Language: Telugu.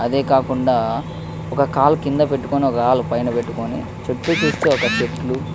అదే కాకుండా ఒక కళ్ళు కింద పెటుకొని ఒక కళ్ళు మేధా పెటుకొని చూతు చూస్తే ఒక చేతుల్లు.